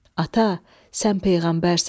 "Ata, sən peyğəmbərsən.